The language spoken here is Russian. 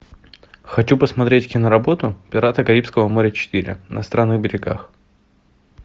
хочу посмотреть киноработу пираты карибского моря четыре на странных берегах